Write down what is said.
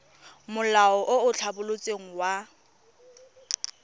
molao o o tlhabolotsweng wa